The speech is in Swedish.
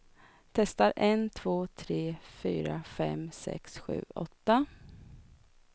Testar en två tre fyra fem sex sju åtta.